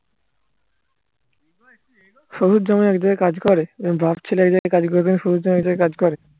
শশুর জামাই এক কাজ করে এরম বাপ ছেলে এক জাগায় কাজ করবে শশুর জামাই এক কাজ করে